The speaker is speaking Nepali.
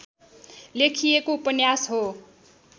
लेखिएको उपन्यास हो